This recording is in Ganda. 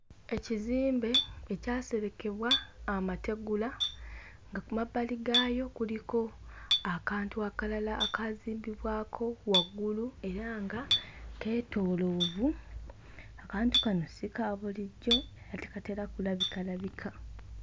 Ekizimbe ekyaserekebwa amategula nga ku mabbali gaayo kuliko akantu akalala akaazimbibwako waggulu era nga keetooloovu. Akantu kano si ka bulijjo era tekatera kulabikalabika.